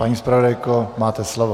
Paní zpravodajko, máte slovo.